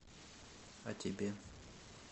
а тебе